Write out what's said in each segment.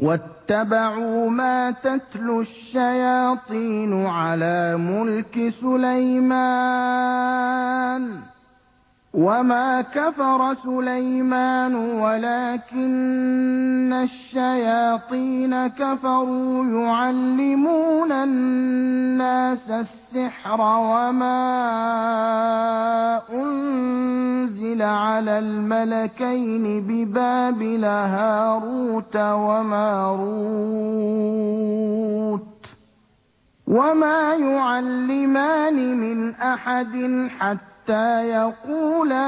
وَاتَّبَعُوا مَا تَتْلُو الشَّيَاطِينُ عَلَىٰ مُلْكِ سُلَيْمَانَ ۖ وَمَا كَفَرَ سُلَيْمَانُ وَلَٰكِنَّ الشَّيَاطِينَ كَفَرُوا يُعَلِّمُونَ النَّاسَ السِّحْرَ وَمَا أُنزِلَ عَلَى الْمَلَكَيْنِ بِبَابِلَ هَارُوتَ وَمَارُوتَ ۚ وَمَا يُعَلِّمَانِ مِنْ أَحَدٍ حَتَّىٰ يَقُولَا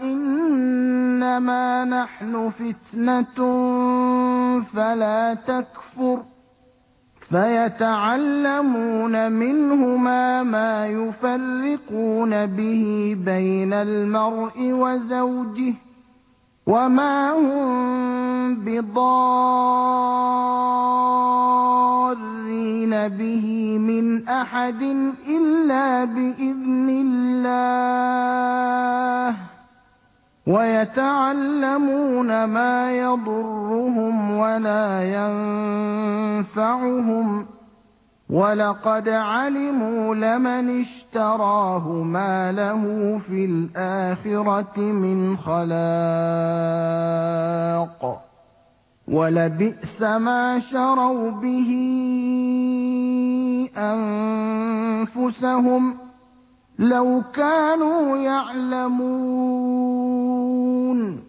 إِنَّمَا نَحْنُ فِتْنَةٌ فَلَا تَكْفُرْ ۖ فَيَتَعَلَّمُونَ مِنْهُمَا مَا يُفَرِّقُونَ بِهِ بَيْنَ الْمَرْءِ وَزَوْجِهِ ۚ وَمَا هُم بِضَارِّينَ بِهِ مِنْ أَحَدٍ إِلَّا بِإِذْنِ اللَّهِ ۚ وَيَتَعَلَّمُونَ مَا يَضُرُّهُمْ وَلَا يَنفَعُهُمْ ۚ وَلَقَدْ عَلِمُوا لَمَنِ اشْتَرَاهُ مَا لَهُ فِي الْآخِرَةِ مِنْ خَلَاقٍ ۚ وَلَبِئْسَ مَا شَرَوْا بِهِ أَنفُسَهُمْ ۚ لَوْ كَانُوا يَعْلَمُونَ